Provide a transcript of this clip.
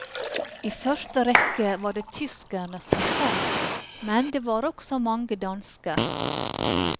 I første rekke var det tyskerne som kom, men det var også mange dansker.